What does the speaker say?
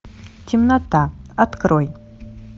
темнота открой